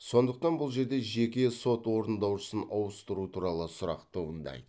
сондықтан бұл жерде жеке сот орындаушысын ауыстыру туралы сұрақ туындайды